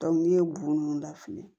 n'i ye bun da fili